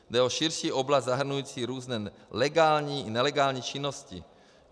Jde o širší oblast zahrnující různé legální i nelegální činnosti.